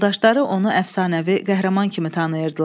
Yoldaşları onu əfsanəvi qəhrəman kimi tanıyırdılar.